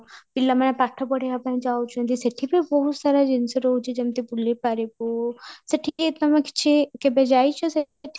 ପିଲାମାନେ ପାଠ ପଢିବା ପାଇଁ ଯାଉଛନ୍ତି ସେଠି ବି ବହୁତ ସାରା ଜିନିଷ ରହୁଛି ଯେମିତି ବୁଲି ପାରିବୁ ସେଠି ଏ ତମ କିଛି କେବେ ଯାଇଛ ସେଠି